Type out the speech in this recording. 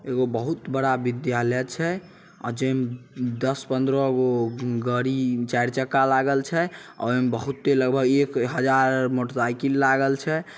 एगो बहुत बड़ा विद्यालय छै जे मे दस पन्द्रह गो गड़ी चार चक्का लागल छै। ओय में बहुते लगभग एक हजार आर मोटर साइकिल लागल छै ।